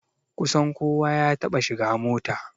Kusan kowa ya taɓa shiga mota